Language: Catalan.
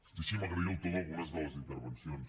deixin me agrair el to d’algunes de les intervencions